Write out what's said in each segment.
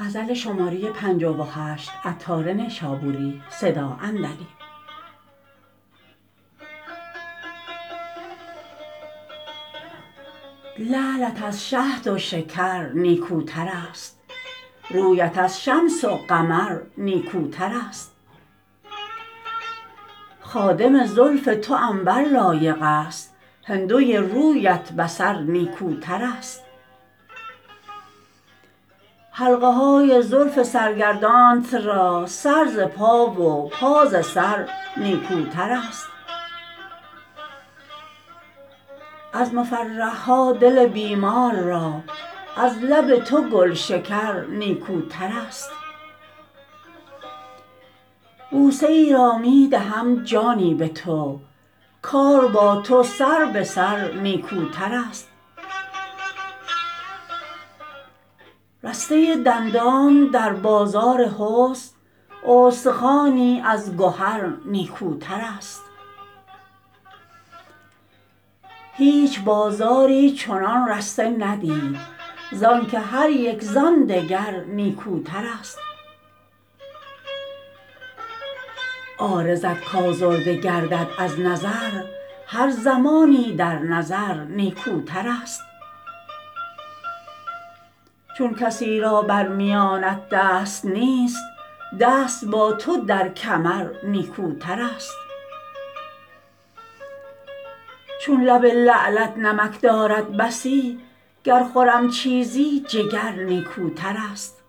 لعلت از شهد و شکر نیکوتر است رویت از شمس و قمر نیکوتر است خادم زلف تو عنبر لایق است هندوی رویت بصر نیکوتر است حلقه های زلف سرگردانت را سر ز پا و پا ز سر نیکوتر است از مفرح ها دل بیمار را از لب تو گلشکر نیکوتر است بوسه ای را می دهم جانی به تو کار با تو سر به سر نیکوتر است رسته دندانت در بازار حسن استخوانی از گهر نیکوتر است هیچ بازاری چنان رسته ندید زانکه هریک زان دگر نیکوتر است عارضت کازرده گردد از نظر هر زمانی در نظر نیکوتر است چون کسی را بر میانت دست نیست دست با تو در کمر نیکوتر است چون لب لعلت نمک دارد بسی گر خورم چیزی جگر نیکوتر است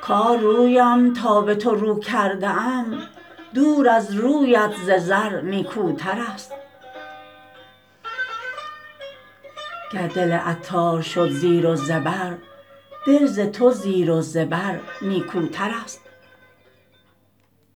کار رویم تا به تو رو کرده ام دور از رویت ز زر نیکوتر است گر دل عطار شد زیر و زبر دل ز تو زیر و زبر نیکوتر است